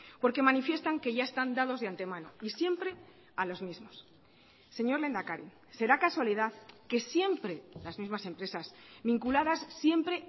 porque manifiestan que ya están dados de antemano y siempre a los mismos señor lehendakari será casualidad que siempre las mismas empresas vinculadas siempre